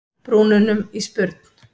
brúnunum í spurn.